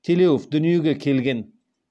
телеуов дүниеге келген